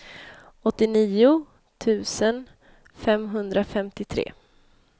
åttionio tusen femhundrafemtiotre